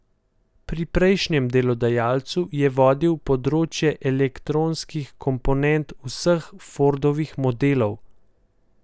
Pri prejšnjem delodajalcu je vodil področje elektronskih komponent vseh Fordovih modelov.